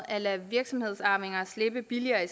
at lade virksomhedsarvinger slippe billigere i